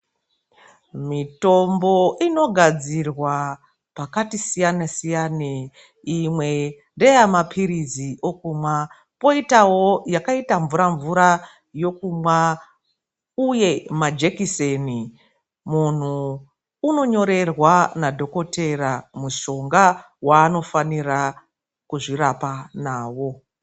Mitombo inogadzirwa pakati siyane siyane. Imwe ndeyemaphirizi okumwa. Poitawo yakaita mvura mvura yokumwa uye majekiseni. Munhu unonyorerwa nadhokotera mushonga waanofanira kuzvirapa nawo